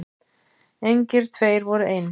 Engir tveir voru eins.